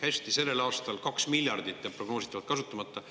Hästi, sellel aastal kaks miljardit jääb prognoositavalt kasutamata.